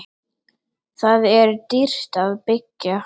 Þar er dýrt að byggja.